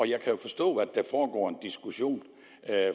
jeg kan jo forstå at der foregår en diskussion